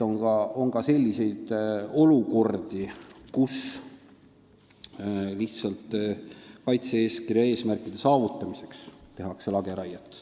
On ka selliseid olukordi, kus lihtsalt kaitse-eeskirja eesmärkide saavutamiseks tehakse lageraiet.